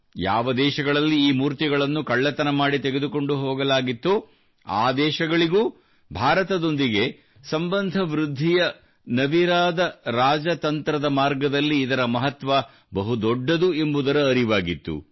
ಯಾವ ದೇಶಗಳಲ್ಲಿ ಈ ಮೂರ್ತಿಗಳನ್ನು ಕಳ್ಳತನ ಮಾಡಿ ತೆಗೆದುಕೊಂಡು ಹೋಗಲಾಗಿತ್ತೋ ಆ ದೇಶಗಳಿಗೂ ಭಾರತದೊಂದಿಗೆ ಸಂಬಂಧ ವೃದ್ಧಿಯ ನವಿರಾದ ರಾಜತಂತ್ರದ ಮಾರ್ಗದಲ್ಲಿ ಇದರ ಮಹತ್ವ ಬಹು ದೊಡ್ಡದು ಎಂಬುದರ ಅರಿವಾಗಿತ್ತು